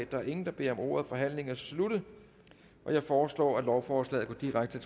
der er ingen der beder om ordet forhandlingen er sluttet jeg foreslår at lovforslaget går direkte